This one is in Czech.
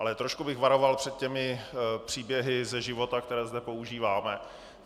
Ale trošku bych varoval před těmi příběhy ze života, které zde používáme.